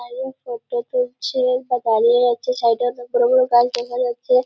দাঁড়িয়ে ফটো তুলছে বা দাঁড়িয়ে আছে। সাইডে অনেক বড় বড় গাছ দেখা যাচ্ছে।